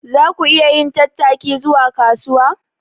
Za ku iya yin tattaki zuwa kasuwa?